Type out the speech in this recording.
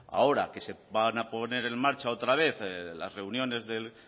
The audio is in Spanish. ahora que se van a poner en marcha otra vez las reuniones del